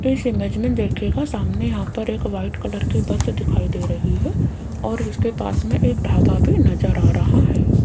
इस इमेज में देखियेगा सामने यहाँ पर एक वाइट कलर की बस दिखाई दे रही है और उसके पास में एक ढाबा भी नजर आ रहा है।